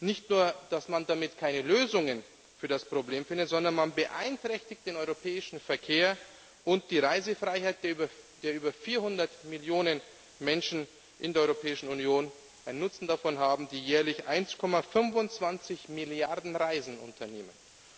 Nicht nur, dass man damit keine Lösungen für das Problem findet, sondern man beeinträchtigt den europäischen Verkehr und die Reisefreiheit der über 400 Millionen Menschen in der Europäischen Union, die einen Nutzen davon haben, die jährlich 1,25 Milliarden Reisen unternehmen.